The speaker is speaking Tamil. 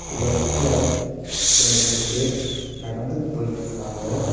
லெஃப்ட்ல ரெண்டு மூணு பேர் நடந்து போயிட்ருக்காங்க.